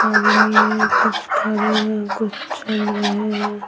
आदमी है कुछ खा रहे हैं कुछ चल रहे हैं।